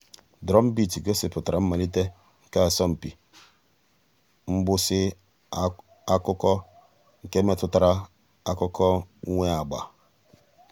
drumbeat gọ̀sìpùtárà mmàlítè nke àsọ̀mpị mgbụsị̀ ákụ̀kwò nke mètụtara àkụ̀kwò nwee àgbà.